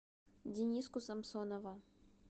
дениску самсонова